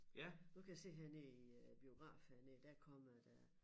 Nu kan jeg se hernede i æ biograf hernede der kommer der